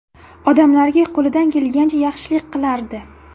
Odamlarga qo‘lidan kelgancha yaxshilik qilardi.